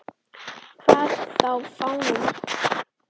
Hvað þá fáninn okkar.